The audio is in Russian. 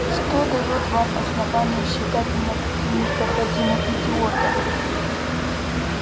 что даёт вам основание считать меня таким непроходимым идиотом